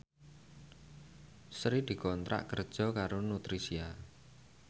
Sri dikontrak kerja karo Nutricia